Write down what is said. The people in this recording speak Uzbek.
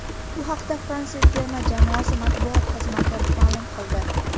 Bu haqda Fransiya terma jamoasi matbuot xizmati ma’lum qildi .